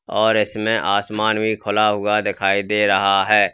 और इसमें आसमान भी खुला हुआ दिखाई दे रहा है।